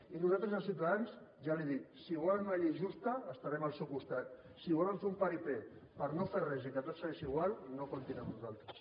i nosaltres des de ciutadans ja li ho dic si volen una llei justa estarem al seu costat si volen fer un paripé per no fer res i que tot segueixi igual no comptin amb nosaltres